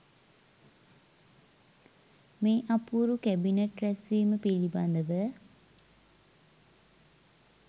මේ අපූරු කැබිනට් රැස්වීම පිළිබඳ ව